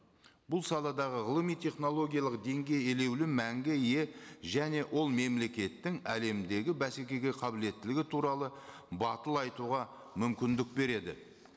бұл саладағы ғылыми технологиялық деңгей елеулі мәңгі ие және ол мемлекеттің әлемдегі бәсекеге қабілеттілігі туралы батыл айтуға мүмкіндік береді